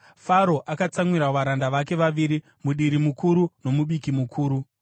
Faro akatsamwira varanda vake vaviri, mudiri mukuru nomubiki mukuru,